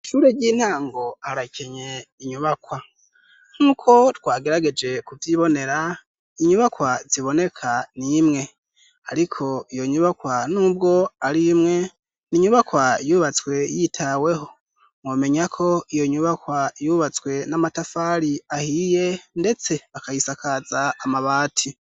Ishure ry'intango harakenye inyubakwa. Nk'uko twagerageje kuvyibonera, inyubakwa ziboneka ni imwe. Ariko iyo nyubakwa n'ubwo ari imwe, ni inyubakwa yubatswe yitaweho. Mwomenya ko iyo nyubakwa yubatswe n'amatafari ahiye ndetse akayisakaza amabati.